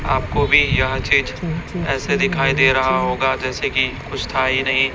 आपको भी यह चीज ऐसे दिखाई दे रहा होगा जैसे कि कुछ था ही नहीं।